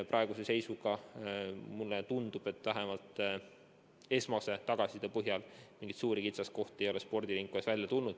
Praeguse seisuga mulle vähemalt esmase tagasiside põhjal tundub, et mingeid suuri kitsaskohti ei ole spordivaldkonnas välja tulnud.